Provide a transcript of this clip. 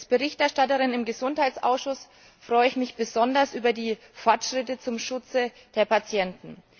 Als Berichterstatterin im Gesundheitsausschuss freue ich mich besonders über die Fortschritte beim Schutz der Patienten.